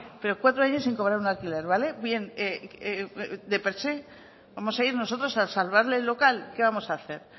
pero cuatro años sin cobrar un alquiler vale de per se vamos a ir nosotros a salvarle el local qué vamos a hacer